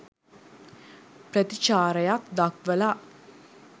ප්‍රතිචාරයක් දක්වල